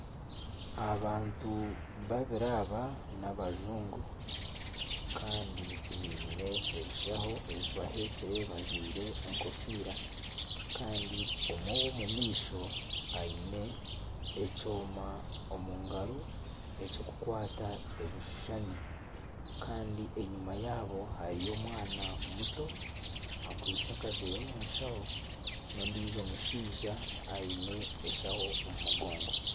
Abantu babiri aba n'abajungu kandi baine ebishaho ebibaheekire bajwaire enkofiira kandi omwe ow'omu maisho aine ekyoma omu ngaro eky'okukwata ebishushani kandi enyuma yaabo hariyo omwana muto akwaitse akaveera omu shaho n'ondiijo mushaija aine eshaho omu mugongo.